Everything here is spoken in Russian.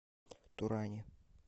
туране